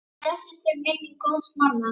Blessuð sé minning góðs manns.